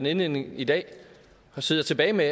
i indledningen i dag sidder tilbage med